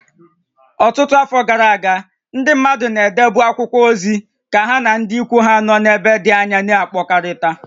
Ọtụtụ afọ gara aga, ndị mmadụ na-edebu akwụkwọ ozi ka ha na ndị ikwu ha nọ n'ebe dị anya na-akpakọrịta